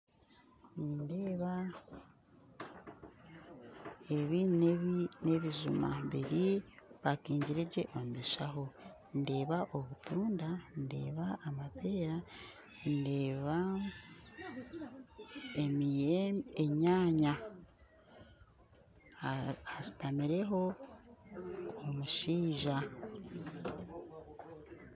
Nindeeba ebi nebijuma bipakingire gye omu bishaho, ndeeba obutunda, ndeeba amapeera ndeeba enyaanya hashutamireho omushaija.